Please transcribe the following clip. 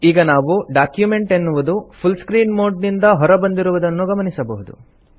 ಈಗ ನಾವು ಡಾಕ್ಯುಮೆಂಟ್ ಎನ್ನುವುದು ಫುಲ್ ಸ್ಕ್ರೀನ್ ಮೋಡ್ ನಿಂದ ಹೊರ ಬಂದಿರುವುದನ್ನು ಗಮನಿಸಬಹುದು